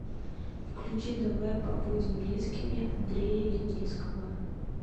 включи давай побудем близкими андрея леницкого